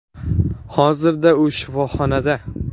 Hozirda u shifoxonada.